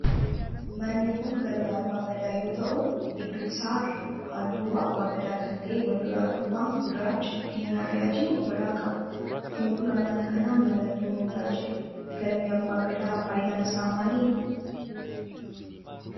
Manni kun galma abbaa Gadaa yoo ta'u gidduu isaa irraa halluu abbaa Gadaa kan ta'e wal duraa duuban gurraacha, diimaa fi adii of irraa qaba. Fuldura mana kanaa mallattoon odaa jira. Galmi abbaa Gadaa faayidaan isaa maalidha?